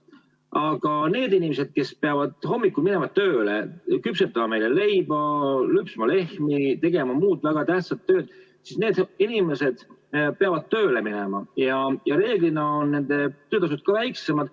Aga need inimesed, kes peavad hommikul minema tööle, küpsetama meile leiba, lüpsma lehmi, tegema muud väga tähtsat tööd, need inimesed peavad tööle minema ja reeglina on nende töötasud ka väiksemad.